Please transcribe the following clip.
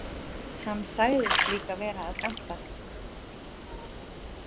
Hann sagðist líka vera að gantast.